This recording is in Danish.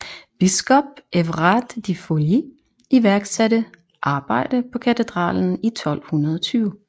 Biskop Evrard de Fouilly iværksatte arbejde på katedralen i 1220